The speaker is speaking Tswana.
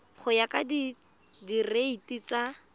go ya ka direiti tsa